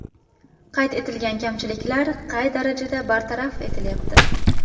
Qayd etilgan kamchiliklar qay darajada bartaraf etilyapti?